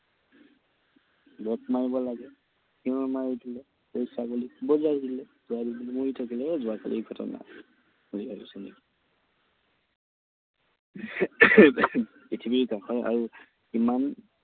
Back মাৰিব লাগে, চিঞৰ মাৰি দিলে। গৈ ছাগলীক খুন্দিয়াই দিলে। ছাগলীজনী মৰি থাকিলে। এই যোৱাকালিৰ ঘটনা। পৃথিৱীৰ কথা আৰু কিমান